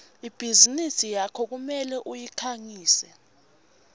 ibhizinisi yakho kumele uyikhangise